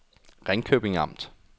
Ringkøbing Amt